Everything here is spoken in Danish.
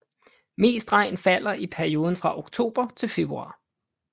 Mest regn falder i perioden fra oktober til februar